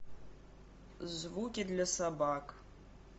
звуки для собак